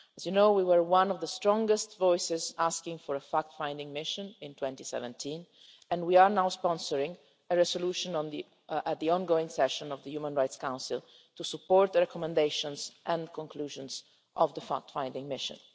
As you know, we were one of the strongest voices calling for a fact finding mission in 2017 and we are now sponsoring a resolution at the ongoing session of the Human Rights Council to support the recommendations and conclusions of the fact finding mission.